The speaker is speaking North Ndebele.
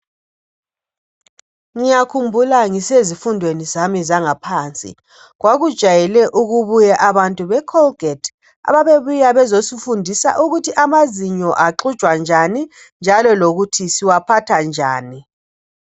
Ngiyakhumbula ngisezifundweni zami zangaphansi kwakujayrle ukubuya abantu be"Colgate" ababebuya bezosifundisa ukuthi amazinyo axujwa njani njalo lokuthi siwaphatha njani.